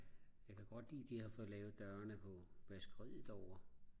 jeg kan godt lide de har fået lavet dørene på vaskeriet derovre